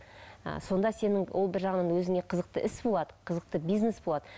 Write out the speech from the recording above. ы сонда сенің ол бір жағынан өзіңе қызықты іс болады қызықты бизнес болады